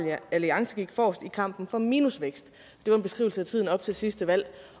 alliance gik forrest i kampen for minusvækst det var en beskrivelse af tiden op til sidste valg